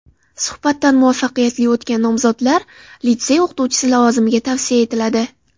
Suhbatdan muvaffaqiyatli o‘tgan nomzodlar litsey o‘qituvchisi lavozimiga tavsiya etiladi.